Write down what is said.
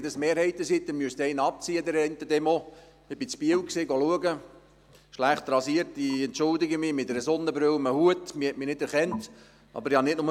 Wenn es um Mehrheiten geht, müssten Sie an der einen Demonstration eine Person wegrechnen.